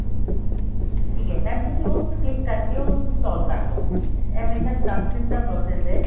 ਠੀਕ ਏ mam ਤੁਸੀਂ ਉਸ ਤੇ click ਕਰਕੇ ਉਹਨੂੰ install ਕਰਲੋ ਇਹ ਮੇਰੇ ਖਿਆਲ ਨਾਲ ਦੱਸ ਮਿੰਟ ਦਾ process ਏ